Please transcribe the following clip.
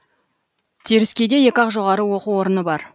теріскейде екі ақ жоғары оқу орыны бар